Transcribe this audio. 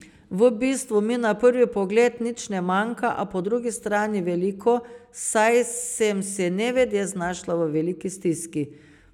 Po nekaj dneh smo jo le prejeli.